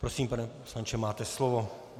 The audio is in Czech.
Prosím, pane poslanče, máte slovo.